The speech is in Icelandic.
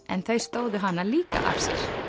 en þau stóðu hana líka af sér